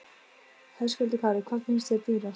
Höskuldur Kári: Hvað finnst þér dýrast?